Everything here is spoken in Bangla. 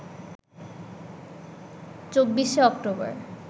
২৪শে অক্টোবর